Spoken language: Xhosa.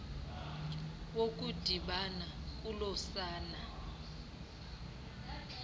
wokudibana kolo sana